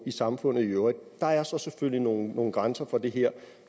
i samfundet i øvrigt der er så selvfølgelig nogle nogle grænser for det her